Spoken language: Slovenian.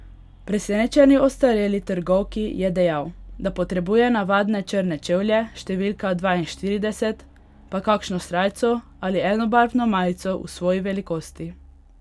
Presenečeni ostareli trgovki je dejal, da potrebuje navadne črne čevlje številka dvainštirideset, pa kakšno srajco ali enobarvno majico v svoji velikosti.